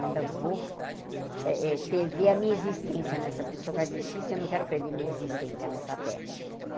Eu ainda vou eh eh perder a minha existência nessa... Porque eu sou cardecista e eu não quero perder a minha existência nesta terra.